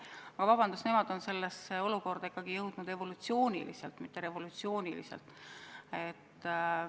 Aga vabandust, nemad on sellesse olukorda ikkagi jõudnud evolutsiooniliselt, mitte revolutsiooniliselt.